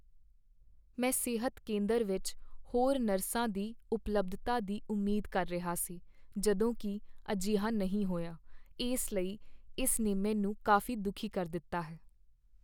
ਮੈਂ ਸਿਹਤ ਕੇਂਦਰ ਵਿੱਚ ਹੋਰ ਨਰਸਾਂ ਦੀ ਉਪਲਬਧਤਾ ਦੀ ਉਮੀਦ ਕਰ ਰਿਹਾ ਸੀ ਜਦੋਂ ਕਿ ਅਜਿਹਾ ਨਹੀਂ ਹੋਇਆ, ਇਸ ਲਈ ਇਸ ਨੇ ਮੈਨੂੰ ਕਾਫ਼ੀ ਦੁਖੀ ਕਰ ਦਿੱਤਾ ਹੈ।